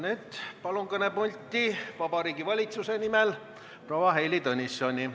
Nüüd palun kõnepulti Vabariigi Valitsuse nimel proua Heili Tõnissoni!